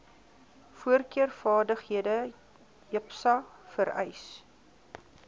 voorkeurvaardighede jipsa vereis